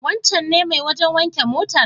Wancen ne mai wajen wanke motar?